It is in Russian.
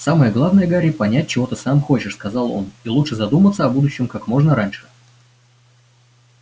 самое главное гарри понять чего ты сам хочешь сказал он и лучше задуматься о будущем как можно раньше